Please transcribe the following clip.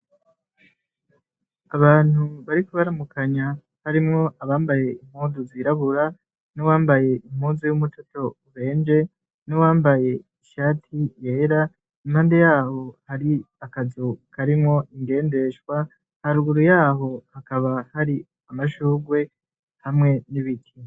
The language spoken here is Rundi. Abantu bariko baramukanya harimwo abambaye impuzu zirabura n'uwambaye impuzu y'umutoto ubenje n'uwambaye ishati yera, impande yaho hari akazu karimwo ingendeshwa haruguru yaho hakaba hari amashugwe hamwe n'ibiti.